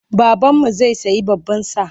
Babanmu zai sayi baban sa.